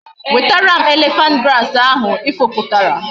Wetara m elephant grass ahu i fuputara!